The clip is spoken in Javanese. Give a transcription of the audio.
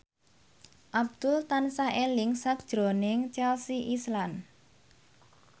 Abdul tansah eling sakjroning Chelsea Islan